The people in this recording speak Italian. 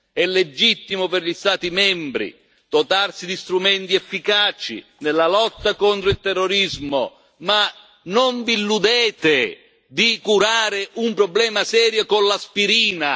È legittimo per gli Stati membri dotarsi di strumenti efficaci nella lotta al terrorismo ma non illudetevi di curare un problema serio con l'aspirina!